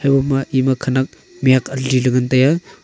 tho ma ema khenak mihak aliley ngan taiya.